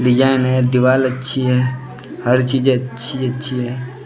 Design हैं दीवाल अच्छी हैं हर चीज़ अच्छी अच्छी हैं।